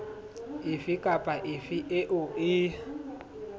efe kapa efe eo e